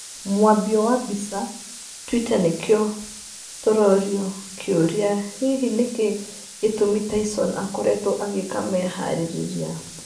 Mwambio wa mbica, twitter nĩkĩo tũroria kĩũria hihi nĩkĩ gĩtũmi Tyson akoretwo agĩĩka meharĩrĩria